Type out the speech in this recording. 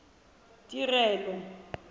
tirelo